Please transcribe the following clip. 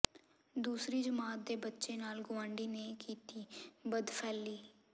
ਦੂਸਰੀ ਜਮਾਤ ਦੇ ਬੱਚੇ ਨਾਲ ਗੁਆਂਢੀ ਨੇ ਕੀਤੀ ਬਦਫੈਲੀ